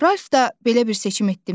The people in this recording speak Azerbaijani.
Ralf da belə bir seçim etdimi?